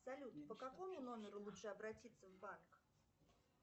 салют по какому номеру лучше обратиться в банк